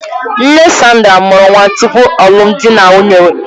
Nne Sandra mụrụ nwa tupu alụmdi na nwunye.